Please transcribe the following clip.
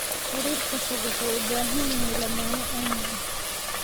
Xiriirka fog wuxuu u baahan yahay lamaane aamin ah.